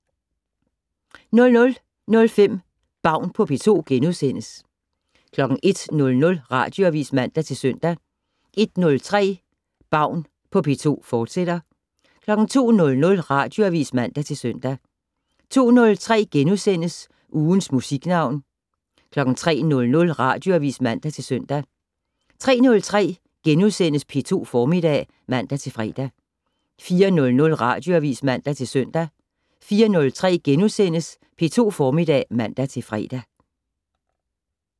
00:05: Baun på P2 * 01:00: Radioavis (man og -søn) 01:03: Baun på P2, fortsat 02:00: Radioavis (man-søn) 02:03: Ugens Musiknavn * 03:00: Radioavis (man-søn) 03:03: P2 Formiddag *(man-fre) 04:00: Radioavis (man-søn) 04:03: P2 Formiddag *(man-fre)